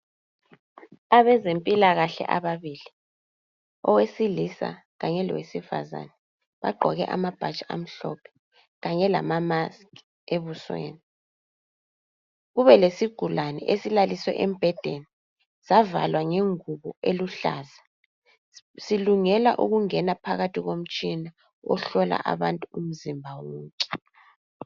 Abezempilakahle ababili owesilisa kanye lowesifazana bagqoke amabhatshi amhlophe kanye lamamaski ebusweni. Kubelesigulane esilaliswe embhedeni savalwa ngengubo eluhlaza silungela ukungena phakathi komtshina ohlola abantu umzimba wonke.